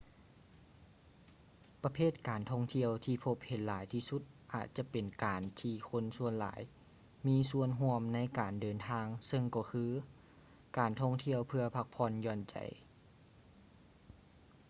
ປະເພດການທ່ອງທ່ຽວທີ່ພົບເຫັນຫຼາຍທີ່ສຸດອາດຈະແມ່ນການທີ່ຄົນສ່ວນຫຼາຍມີສ່ວນຮ່ວມໃນການເດີນທາງເຊິ່ງກໍຄື ການທ່ອງທ່ຽວເພື່ອພັກຜ່ອນຢ່ອນໃຈ